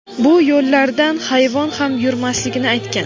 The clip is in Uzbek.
bu yo‘llardan hayvon ham yurmasligini aytgan.